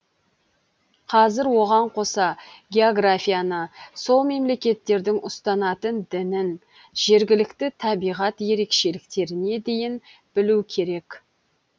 қазір оған қоса географияны сол мемлекеттердің ұстанатын дінін жергілікті табиғат ерекшеліктеріне дейін білу керек